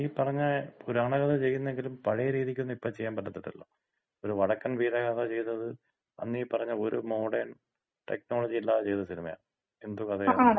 മ്മ്മ്. അല്ല എല്ലാരും ഈ പറഞ്ഞ പുരാണകഥ ചെയ്യുന്നെങ്കിലും പഴയ രീതിക്കൊന്നും ഇപ്പൊ ചെയ്യാൻ പറ്റത്തില്ലല്ലോ. ഒര് വടക്കൻ വീരഗാഥ ചെയ്തത് അന്ന് ഈ പറഞ്ഞ ഒര് മോഡേൺ ടെക്നോളജിം ഇല്ലാതെ ചെയ്ത സിനിമയാ. എന്ത് കഥയാണ്.